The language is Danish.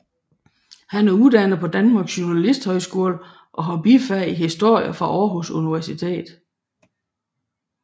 Han er uddannet fra Danmarks Journalisthøjskole og har bifag i historie fra Aarhus Universitet